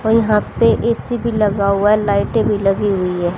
और यहाँ पे ए_सी भीं लगा हुआ हैं लाईटें भीं लगी हुई हैं।